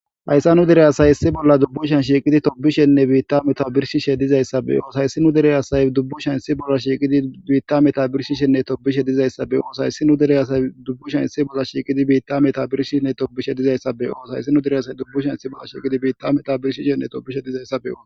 hayssa nu dere asay issi bolla dubbushan shiiqidi tobishenne biitta meta birshishe dizayssabeyoos hayssi nu dere asay dubbu shan issi bolla shiiqidi biitta meta birshishenne tobishe dizayssabeyoos hayssi nu dere asay dubbushan issi bolla shiiqidi biitta meta birshine tobishe dizayssabeyoos hayssi nu dere asay dubbushan issi bolla shiiqidi biitta meta birshishenne tobishe dizayssabeo